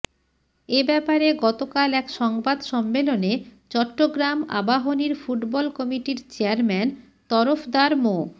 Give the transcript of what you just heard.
এ ব্যাপারে গতকাল এক সংবাদ সম্মেলনে চট্টগ্রাম আবাহনীর ফুটবল কমিটির চেয়ারম্যান তরফদার মো